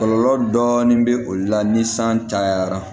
Kɔlɔlɔ dɔɔni bɛ o de la ni san cayara